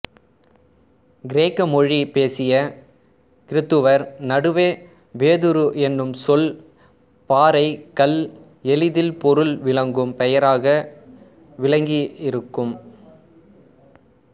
கிரேக்க மொழி பேசிய கிறித்தவர் நடுவே பேதுரு என்னும் சொல் பாறை கல் எளிதில் பொருள் விளங்கும் பெயராக விளங்கியிருக்கும்